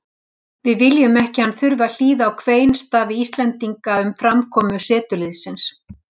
Við viljum ekki að hann þurfti að hlýða á kveinstafi Íslendinga um framkomu setuliðsins.